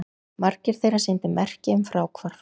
Margir þeirra sýndu merki um fráhvarf